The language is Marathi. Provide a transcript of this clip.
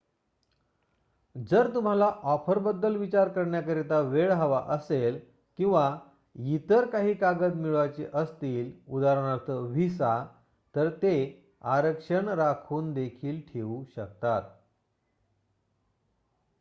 जर तुम्हाला ऑफर बद्दल विचार करण्याकरिता वेळ हवा असेल किंवा इतर काही कागद मिळवायची असतील उदा. व्हिसा तर ते आरक्षण राखून देखील ठेऊ शकतात